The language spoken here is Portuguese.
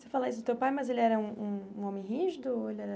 Você fala isso do teu pai, mas ele era um um homem rígido ou ele era